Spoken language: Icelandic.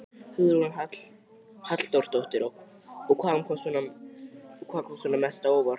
Hugrún Halldórsdóttir: Og hvað kom svona mest á óvart?